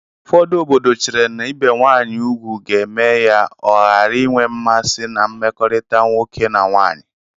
Ụfọdụ obodo chere na ibe nwanyị ugwu ga-eme ya ọ ghara inwe mmasị na mmekọrịta nwoke na nwanyị